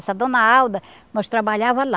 Essa dona Alda, nós trabalhava lá.